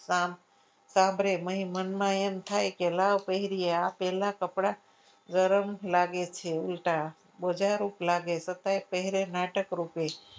સાંભળે પછી મનમાં એમ થાય કે લાવ આ પહેરીએ પહેલા કપડાં ગરમ લાગે છે ઉલ્ટા બોજા રૂપ લાગે છતાંય પહેરી નાટક રૂપે.